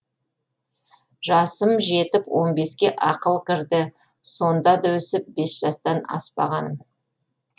жасым жетіп он беске ақыл кірді сонда да өсіп бес жастан аспағаным